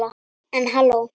En halló.